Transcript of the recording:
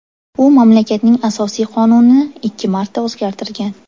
U mamlakatning asosiy qonunini ikki marta o‘zgartirgan.